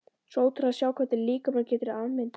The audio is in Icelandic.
Svo ótrúlegt að sjá hvernig líkaminn getur afmyndast.